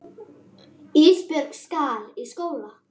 Ísbjörg skal í skóla.